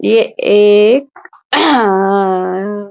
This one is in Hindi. ये एक --